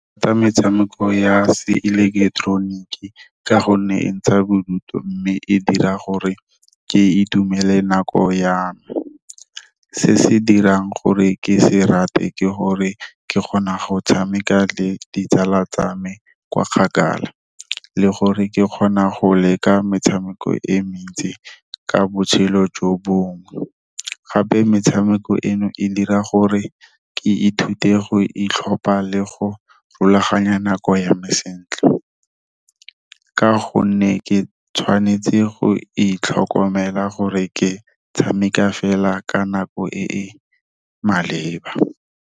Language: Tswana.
Ke rata metshameko ya se ileketeroniki ka gonne e ntsha bodutu, mme e dira gore ke itumele nako ya me. Se se dirang gore ke se rate ke gore ke kgona go tshameka le ditsala tsa me kwa kgakala, le gore ke kgona go leka metshameko e mentsi ka botshelo jo bongwe. Gape metshameko eno e dira gore ke ithute go itlhopha le go rulaganya nako ya me sentle. Ka gonne ke tshwanetse go itlhokomela gore ke tshameka fela ka nako e e maleba.